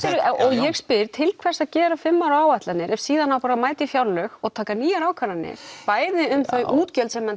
ég spyr til hvers að gera fimm ára áætlanir ef síðan á bara að mæta í fjárlög og taka nýjar ákvarðanir bæði um þau útgjöld sem menn